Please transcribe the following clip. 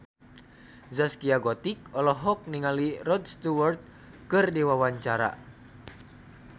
Zaskia Gotik olohok ningali Rod Stewart keur diwawancara